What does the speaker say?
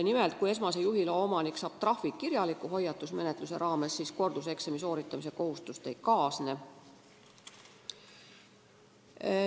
Nimelt, kui esmase juhiloa omanik saab kirjaliku hoiatusmenetluse raames trahvi, siis korduseksami tegemise kohustust ei kaasne.